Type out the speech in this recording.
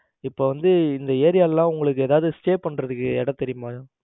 இப்ப வந்து இந்த ஏரியா எல்லாம் உங்களுக்கு எதவாது Stay பண்றதுக்கு இடம் தெரியுமா?